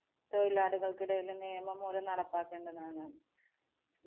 തൊഴിലാളികള്‍ക്കിടയിലും നിയമം മൂലം നടപ്പാക്കേണ്ടതാണ്.